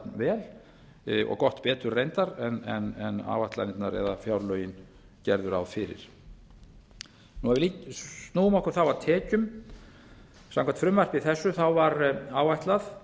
jafn vel og gott betur reyndar en áætlanirnar eða fjárlögin gerðu ráð fyrir nú ef við snúum okkur þá að tekjum samkvæmt frumvarpi þessu var áætlað